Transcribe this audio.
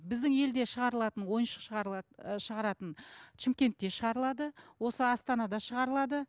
біздің елде шығарылатын ойыншық шығаратын шымкентте шығарылады осы астанада шығарылады